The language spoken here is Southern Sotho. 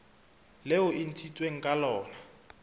leo e ntshitsweng ka lona